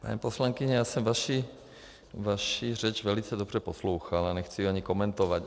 Paní poslankyně, já jsem vaši řeč velice dobře poslouchal a nechci jí ani komentovat.